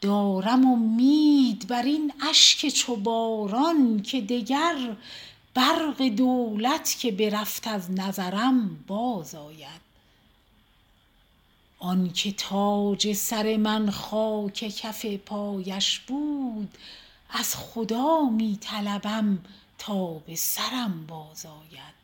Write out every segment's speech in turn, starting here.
دارم امید بر این اشک چو باران که دگر برق دولت که برفت از نظرم بازآید آن که تاج سر من خاک کف پایش بود از خدا می طلبم تا به سرم بازآید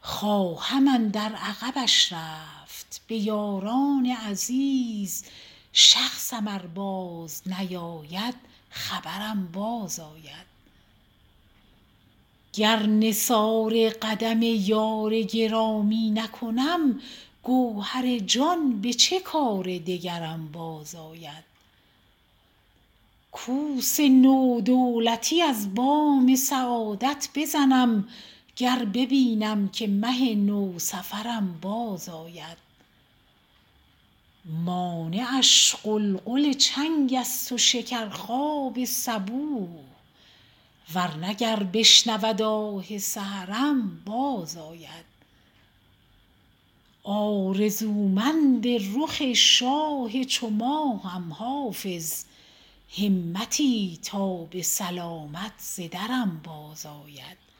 خواهم اندر عقبش رفت به یاران عزیز شخصم ار بازنیاید خبرم بازآید گر نثار قدم یار گرامی نکنم گوهر جان به چه کار دگرم بازآید کوس نو دولتی از بام سعادت بزنم گر ببینم که مه نوسفرم بازآید مانعش غلغل چنگ است و شکرخواب صبوح ور نه گر بشنود آه سحرم بازآید آرزومند رخ شاه چو ماهم حافظ همتی تا به سلامت ز درم بازآید